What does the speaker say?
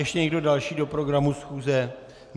Ještě někdo další do programu schůze?